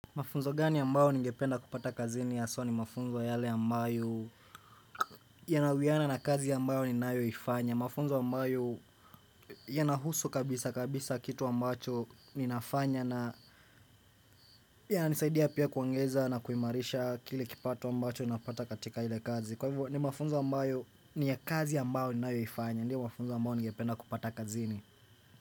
Mafunzo gani ambayo ningependa kupata kazini haswa ni mafunzo yale ambayo ya nawiana na kazi ambayo ni nayo ifanya mafunzo ambayo ya nahusu kabisa kabisa kitu ambacho ninafanya na ya nisaidia pia kuangeza na kuimarisha kile kipato ambacho na pata katika hile kazi kwa hivyo ni mafunzo ambayo ni ya kazi ambayo ni nayo ifanya ni mafunzo ambayo ningependa kupata kazini.